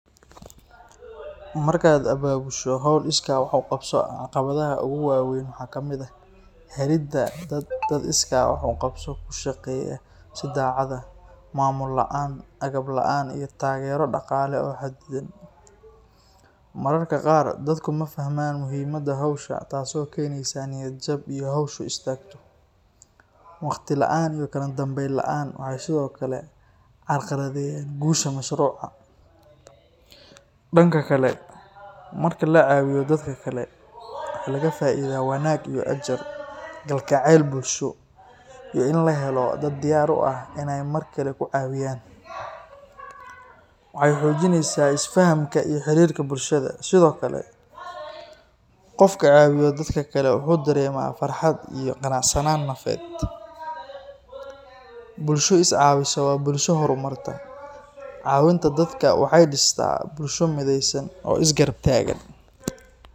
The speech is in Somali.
Markaad abaabusho howl iskaa wax uqabso ah caqabadaha ugu waweyn waxaa kamid ah, helida dad iskaa wax uqabso ku shaqeeya si daacad ah, maamul laan, agab laan, iyo taagero daqaale oo xadidan, mararka qaar dadka mafahmaan muhiimada howsha taas oo keneysa niyad jab iyo howsha oo istaagto, waqti laan iyo kala danbeyn laan, waxaa sido kale carqaladeeyda guusha mashruuca, danka kale marka lacaawiyo dadka kale waxaa laga faaida wanaag iyo ajar, galgaceel bulsho iyo in lahelo dad diyaar u ah in aay mar kale ku caawiyaan, waxeey xoojineysa is fahanka bulshada, sido kale qofka caawiyo dadka kale wuxuu dareema farxad iyo qanacsanaan nafeed, bulsho is caawiso waa bulsho hor marta, caawinta dadka waxeey distaa bulsho mideysan oo is garab taagan.